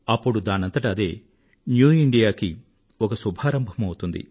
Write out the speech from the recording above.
అప్పుడు దానంతట అదే న్యూఇండియాకు ఒక శుభారంభమౌతుంది